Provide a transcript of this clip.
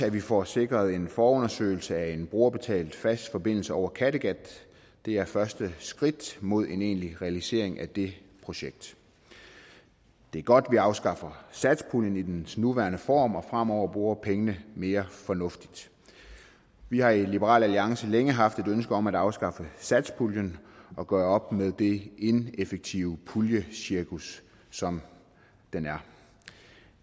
at vi får sikret en forundersøgelse af en brugerbetalt fast forbindelse over kattegat det er første skridt mod en egentlig realisering af det projekt det er godt at vi afskaffer satspuljen i dens nuværende form og fremover bruger pengene mere fornuftigt vi har i liberal alliance længe haft et ønske om at afskaffe satspuljen og gøre op med det ineffektive puljecirkus som den er